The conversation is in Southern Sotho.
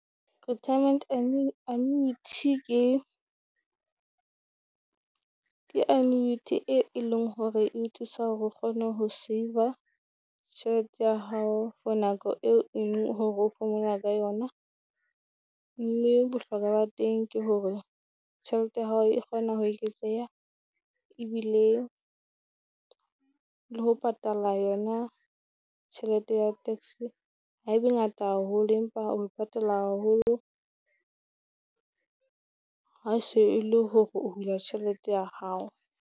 Retirement annuity Ke ke annuity e e leng hore e o thusa hore o kgone ho save-a tjhelete ya hao for nako eo eng ho phomola ka yona. Mme bohlokwa ba teng ke hore tjhelete ya hao e kgona ho eketseha, ebile le ho patala yona tjhelete ya tax ha e be ngata haholo, empa o patala haholo ha se e le hore ho hula tjhelete ya hao.